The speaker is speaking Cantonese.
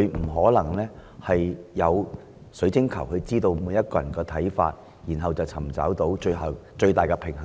亦沒有水晶球能預知所有人的看法，然後找出最終的平衡點。